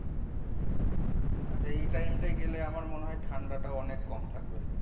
আচ্ছা, এই time টাই গেলে আমার মনে হয় ঠাণ্ডা টাও অনেক কম থাকবে।